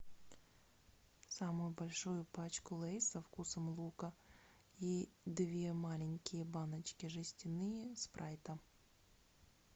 самую большую пачку лейс со вкусом лука и две маленькие баночки жестяные спрайта